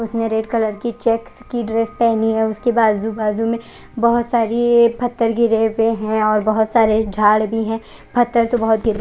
उसने red colour की checks की ड्रेस पहनी है उसके बाजू बाजू में बहोत सारे पत्थर की जेबे है और बहोत सारे झाड़ भी है पत्थर तो--